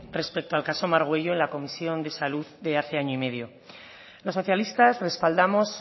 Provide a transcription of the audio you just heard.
respeto al caso margüello en la comisión de salud de hace año y medio los socialistas respaldamos